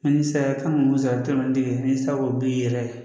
Ani saraka kan ka mun sara n'i sera k'o bi yɛrɛ